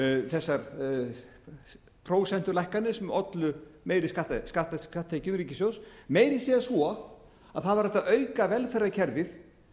þessar prósentulækkanir sem ollu meiri skatttekjum til ríkissjóðs meira að segja svo að það var hægt að auka velferðarkerfið